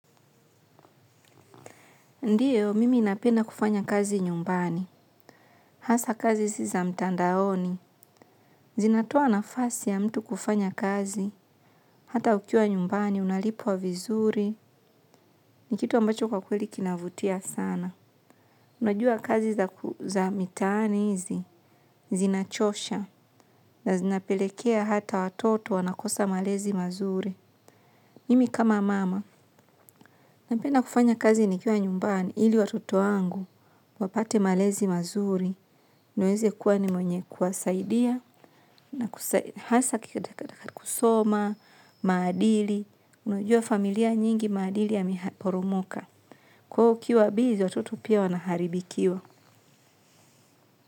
Ndiyo, mimi napenda kufanya kazi nyumbani. Hasa kazi si za mtandaoni. Zinatoa nafasi ya mtu kufanya kazi. Hata ukiwa nyumbani, unalipwa vizuri. Ni kitu ambacho kwa kweli kinavutia sana. Najua kazi za mitaani hizi zinachosha. Zinapelekea hata watoto wanakosa malezi mazuri. Mimi kama mama. Napenda kufanya kazi nikiwa nyumbani. Ili watoto wangu wapate malezi mazuri. Niweze kuwa ni mwenye kuwasaidia na hasa kusoma maadili unajua familia nyingi maadili yameporomoka kwa hiyo ukiwa busy watoto pia wanaharibikiwa.